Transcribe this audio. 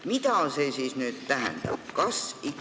Mida see siis nüüd tähendab?